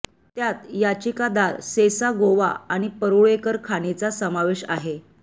त्यात याचिकादार सेसा गोवा आणि परुळेकर खाणीचा समावेश आहे